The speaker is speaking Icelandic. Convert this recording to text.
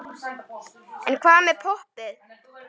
En hvað með poppið?